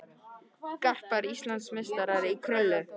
Garpar Íslandsmeistarar í krullu